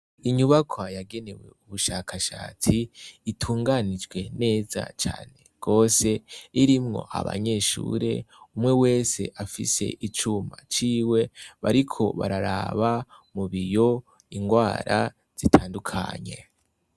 Inyubakwa yagenewe ubushakashatsi itunganijwe neza cane gose irimwo abanyeshure, umwe wese afise icumba ciwe, bariko bararaba mu biyo ingwara zitandukanye.